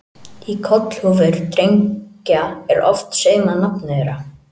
Í kollhúfur drengja er oft saumað nafnið þeirra.